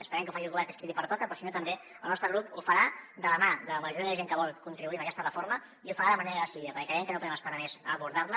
esperem que ho faci el govern que és a qui li pertoca però si no també el nostre grup ho farà de la mà de la majoria de gent que vol contribuir en aquesta reforma i ho farà de manera decidida perquè creiem que no podem esperar més per abordar la